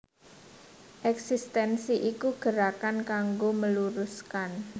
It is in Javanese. Ekstensi iku gerakan kanggo meluruskan